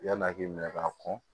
Yan'a k'i minɛ k'a kɔn